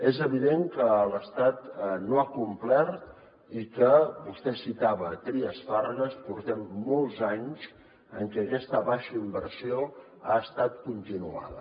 és evident que l’estat no ha complert i que vostè citava trias fargas portem molts anys en què aquesta baixa inversió ha estat continuada